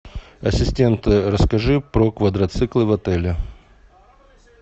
ассистент расскажи про квадроциклы в отеле